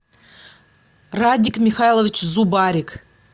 радик михайлович зубарик